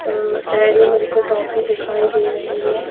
और Dairy Milk toffee दिखाई दे रही है ।